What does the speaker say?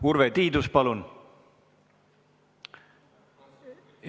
Urve Tiidus, palun!